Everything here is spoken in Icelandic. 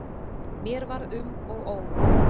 Mér var um og ó.